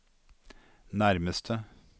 nærmeste